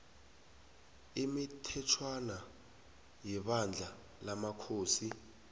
imithetjhwana yebandla lamakhosi